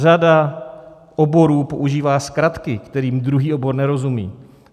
Řada oborů používá zkratky, kterým druhý obor nerozumí.